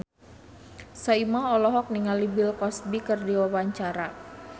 Soimah olohok ningali Bill Cosby keur diwawancara